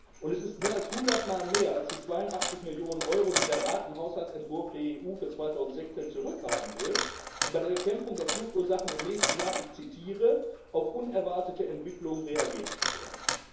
Und es ist mehr als 100 Mal mehr als die 82 Millionen Euro, die der Rat im Haushaltsentwurf der EU für 2016 zurückhalten will, um bei der Bekämpfung der Fluchtursachen im nächsten Jahr auf unerwartete Entwicklungen reagieren zu können.